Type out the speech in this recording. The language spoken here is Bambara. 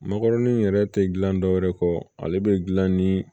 Makɔrɔni yɛrɛ tɛ gilan dɔwɛrɛ kɔ ale bɛ dilan ni